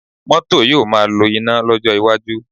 Cars will be run on electric power in the future